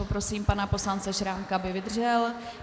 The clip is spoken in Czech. Poprosím pana poslance Šrámka, aby vydržel.